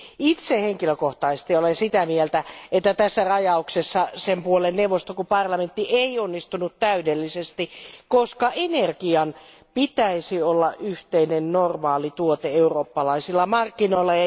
Itse henkilökohtaisesti olen sitä mieltä, että tässä rajauksessa sen puoleen neuvosto kun parlamenttikaan ei onnistunut täydellisesti, koska energian pitäisi olla yhteinen normaali tuote eurooppalaisilla markkinoilla.